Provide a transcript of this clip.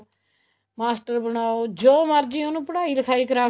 master ਬਣਾਓ ਜੋ ਮਰਜ਼ੀ ਉਹਨੂੰ ਪੜਾਈ ਲਿਖਾਈ ਕਰ ਕੇ